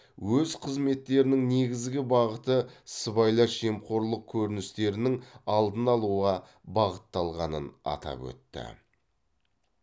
өз қызметтерінің негізгі бағыты сыбайлас жемқорлық көріністерінің алдын алуға бағытталғанын атап өтті